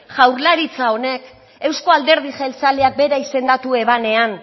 jaurlaritza honek euzko alderdi jeltzalea bera izendatu ebanean